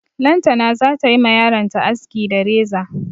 Lantana za ta yi ma yaronta aski da reza.